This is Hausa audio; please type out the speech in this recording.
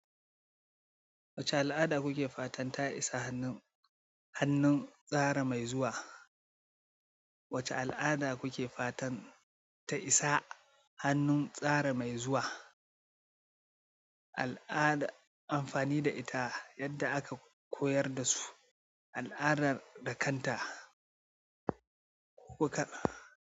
Wace al'ada kuke fatan ta isa hannun tsara mai zuwa? Wace al'ada kuke fatan ta isa hannun tsara mai zuwa? Al'ada amfani da ita yadda aka koyar da su, al'adar da kanta ko kaɗan.